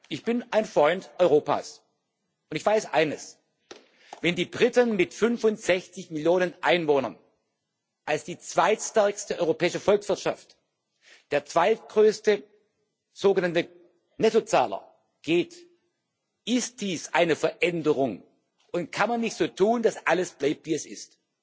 Ich bin ein Freund Europas, und ich weiß eines Wenn die Briten mit 65 Millionen Einwohnern als zweitstärkste europäische Volkswirtschaft der zweitgrößte sogenannte Nettozahler gehen, ist dies eine Veränderung, und man kann nicht so tun, dass alles bleibt, wie es ist.